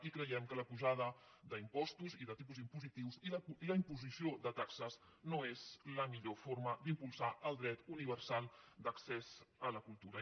i creiem que la pujada d’impostos i de tipus impositius i la imposició de taxes no és la millor forma d’impulsar el dret universal d’accés a la cultural